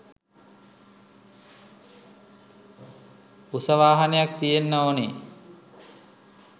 උස වාහනයක් තියෙන්න ඕන.